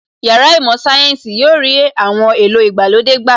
Yàrá īmò Sayensi yóò rí àwọn èlò ìgbàlódé gbà